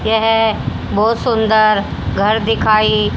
यह बहोत सुंदर घर दिखाई--